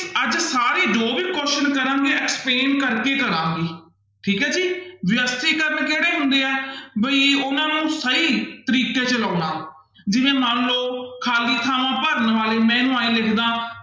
ਅੱਜ ਸਾਰੀ ਜੋ ਵੀ question ਕਰਾਂਗੇ explain ਕਰਕੇ ਹੀ ਕਰਾਂਗੇ ਠੀਕ ਹੈ ਜੀ ਵਿਅਸ਼ਟੀਕਰਨ ਕਿਹੜੇ ਹੁੰਦੇ ਹੈ ਵੀ ਉਹਨਾਂ ਨੂੰ ਸਹੀ ਤਰੀਕੇ ਚ ਲਾਉਣਾ ਜਿਵੇਂ ਮੰਨ ਲਓ ਖਾਲੀ ਥਾਵਾਂ ਭਰਨ ਵਾਲੇ ਮੈਂ ਇਹਨੂੰ ਇਉਂ ਲਿਖ ਦੇਵਾਂ